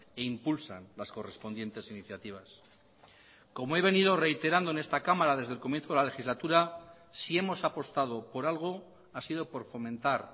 e impulsan las correspondientes iniciativas como he venido reiterando en esta cámara desde el comienzo de la legislatura si hemos apostado por algo ha sido por fomentar